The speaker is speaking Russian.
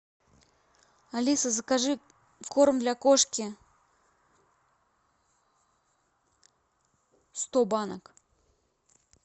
алиса закажи корм для кошки сто банок